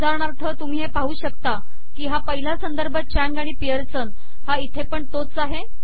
उदाहरणार्थ तुम्ही हे पाहू शकता की हा पहिला संदर्भ चांग आणि पिअर्सन हा इथे पण तोच आहे